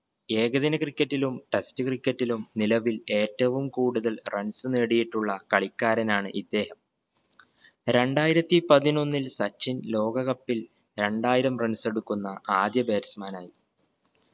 ഏകദിന cricket ലും test cricket ലും നിലവിൽ ഏറ്റവും കൂടുതൽ runs നേടിയിട്ടുള്ള കളിക്കാരനാണ് ഇദ്ദേഹം രണ്ടായിരത്തി പതിനൊന്നിൽ സച്ചിൻ ലോക cup ഇൽ രണ്ടായിരം runs എടുക്കുന്ന ആദ്യ batsman ആയി